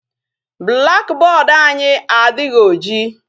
Black board anyị adịghị oji.